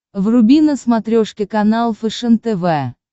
вруби на смотрешке канал фэшен тв